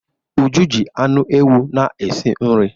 Uju ji anụ ewu na-esi nri.